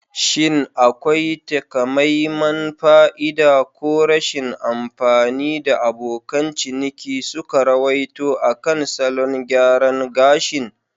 Shin akwai takamaiman fa'ida ko rashin amfani da abokan ciniki suka ruwaito akan salon gyaran gashin??